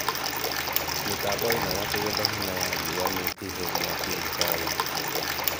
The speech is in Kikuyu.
Mĩtambo ĩno ya kũgetha hinya wa riũa nĩ ĩhe mwaki thibitarĩ yothe